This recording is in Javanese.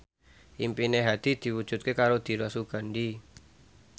impine Hadi diwujudke karo Dira Sugandi